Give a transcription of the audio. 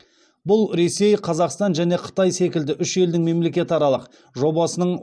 бұл ресей қазақстан және қытай секілді үш елдің мемлекетаралық жобасының